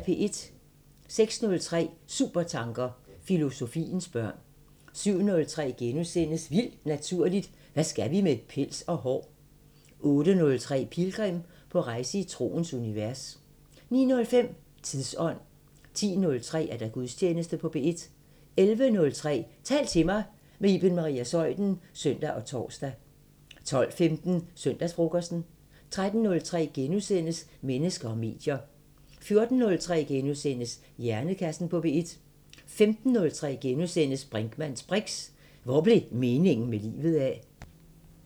06:03: Supertanker: Filosofiens børn 07:03: Vildt Naturligt: Hvad skal vi med pels og hår? * 08:03: Pilgrim – på rejse i troens univers 09:05: Tidsånd 10:03: Gudstjeneste på P1 11:03: Tal til mig – med Iben Maria Zeuthen (søn og tor) 12:15: Søndagsfrokosten 13:03: Mennesker og medier * 14:03: Hjernekassen på P1 * 15:03: Brinkmanns briks: Hvor blev meningen med livet af? *